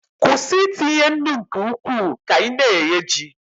kwụsị itinye nnu nke ukwuu ka ị na-eghe ji